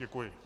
Děkuji.